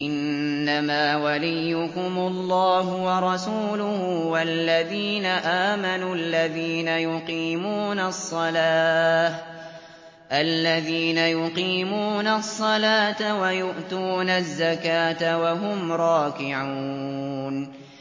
إِنَّمَا وَلِيُّكُمُ اللَّهُ وَرَسُولُهُ وَالَّذِينَ آمَنُوا الَّذِينَ يُقِيمُونَ الصَّلَاةَ وَيُؤْتُونَ الزَّكَاةَ وَهُمْ رَاكِعُونَ